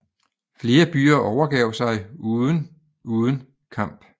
Flere byer overgav sig uden uden kamp